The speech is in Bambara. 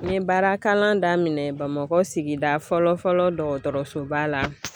N ye baarakalan daminɛ Bamakɔ sigida fɔlɔ fɔlɔ dɔgɔtɔrɔsoba la